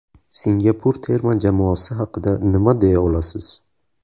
Singapur terma jamoasi haqida nima deya olasiz?